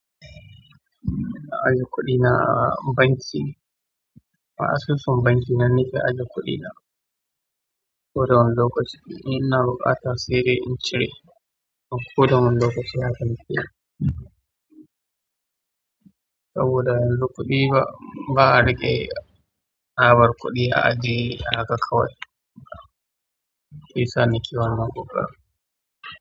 Na ajiye kuɗi na a banki a asusun bankina nake ajje kuɗi na ko da wani lokaci in inaa buƙata saidai in ce re, ko da wani lokaci haka nake. Saboda in ruƙi ba a riƙe na bar kuɗi a aji, haka kawai. Shi sa nake wannan ƙoƙarin.